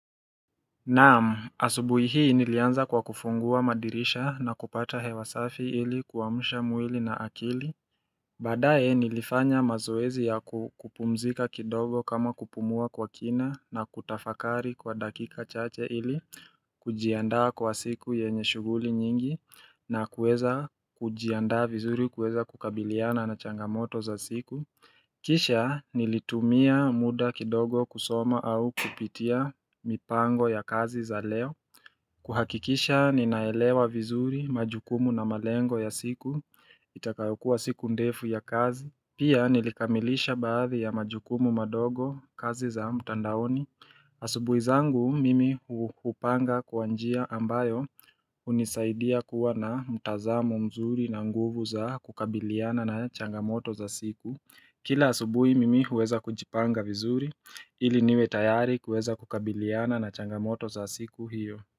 Naam, asubuhi hii nilianza kwa kufungua madirisha na kupata hewasafi ili kuamsha mwili na akili Baadae nilifanya mazoezi ya kupumzika kidogo kama kupumua kwa kina na kutafakari kwa dakika chache ili kujiandaa kwa siku yenye shughuli nyingi na kuweza kujiandaa vizuri kuweza kukabiliana na changamoto za siku Kisha nilitumia muda kidogo kusoma au kupitia mipango ya kazi za leo. Kuhakikisha ninaelewa vizuri majukumu na malengo ya siku itakayokuwa siku ndefu ya kazi. Pia nilikamilisha baadhi ya majukumu madogo kazi za mtandaoni. Asubuizangu mimi hupanga kwa njia ambayo unisaidia kuwa na mtazamo mzuri na nguvu za kukabiliana na changamoto za siku. Kila asubui mimi huweza kujipanga vizuri ili niwe tayari kuweza kukabiliana na changamoto za siku hiyo.